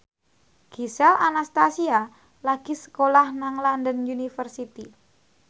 Gisel Anastasia lagi sekolah nang London University